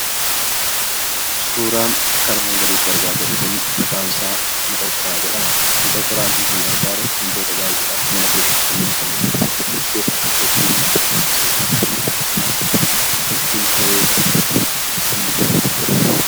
Suuraan akka armaan gadiitti argaa jirru kun maqaan isaa 'maqorqoraa' jedhama. 'Maqorqoraa'n kun kan gargaaru wantoota baay'eedhaaf mana keessatti kan nu fayyaduudha. Isaan keessaa tokko ittiin buna danfisuudhaaf, akkasumas ittiin shaayii danfisuudhaaf kan nu gargaaruudha.